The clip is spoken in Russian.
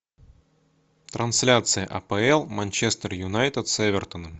трансляция апл манчестер юнайтед с эвертоном